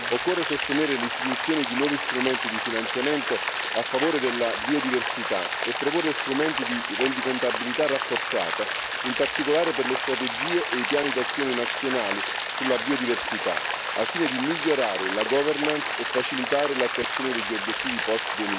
Occorre sostenere l'istituzione di nuovi strumenti di finanziamento a favore della biodiversità e proporre strumenti di rendicontabilità rafforzata, in particolare per le strategie e i piani d'azione nazionali sulla biodiversità, al fine di migliorare la governance e facilitare l'attuazione degli obiettivi post